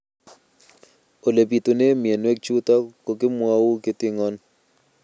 Ole pitune mionwek chutok ko kimwau kitig'�n